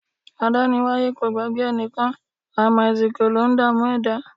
Adániwáyé o gbàgbé ẹnìkan, àìmàsìkò ló ń dààmú ẹ̀dá.